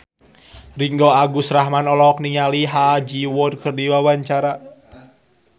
Ringgo Agus Rahman olohok ningali Ha Ji Won keur diwawancara